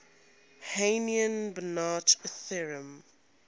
hahn banach theorem